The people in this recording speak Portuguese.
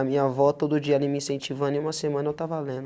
A minha vó todo dia ali me incentivando em uma semana eu estava lendo.